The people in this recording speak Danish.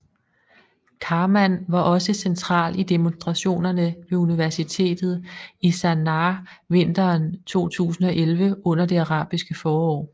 Karman var også central i demonstrationerne ved universitetet i Sanaá vinteren 2011 under det arabiske forår